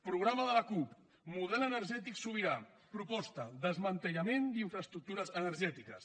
programa de la cup model energètic sobirà proposta desmantellament d’infraestructures energètiques